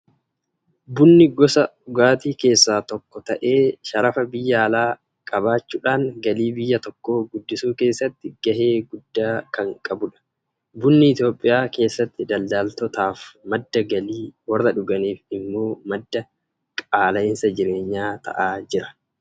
Bunni gosa dhugaatii keessaa tokko ta'e, sharafa biyya alaa qabaachuudhaan galii biyya tokkoo guddisuu keessatti gahee guddaa kan qabudha. Bunni Itoophiyaa keessatti daldaltootaaf madda galii, warra dhuganiif immoo madda qaala'iinsa jireenyaa ta'aa jira.